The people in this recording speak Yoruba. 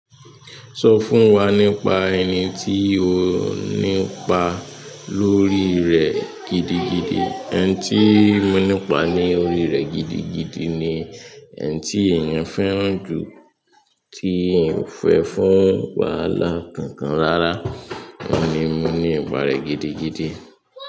Sọ fún wa nípa ẹni tí o nípa lórí rẹ̀ gidigidi. Ẹni tí mo nípa ni orí rẹ gidigidi ni ẹni tí èèyàn fẹ́ràn jù ti èèyàn ò fẹ fún wàhálà kankan rárá. Òun ni mo nípa rẹ̀ gidigidi.